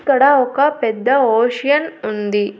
ఇక్కడ ఒక పెద్ద ఓషియన్ ఉంది.